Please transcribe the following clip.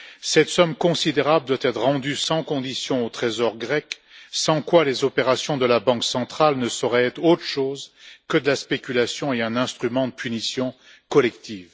Cette somme considérable doit être rendue sans condition au trésor grec, sans quoi les opérations de la Banque centrale ne sauraient être autre chose que de la spéculation et un instrument de punition collective.